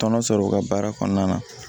Tɔnɔ sɔrɔ u ka baara kɔnɔna na